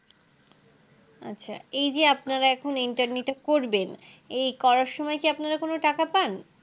আচ্ছা এই যে আপনারা এখন Interni টা করবেন এই করার সময় আপনারা কি কোনো টাকা পান